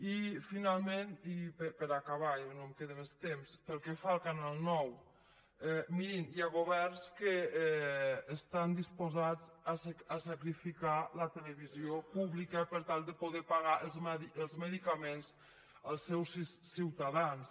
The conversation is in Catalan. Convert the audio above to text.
i finalment i per acabar ja no em queda més temps pel que fa al canal nou mirin hi ha governs que estan disposats a sacrificar la televisió pública per tal de poder pagar els medicaments als seus ciutadans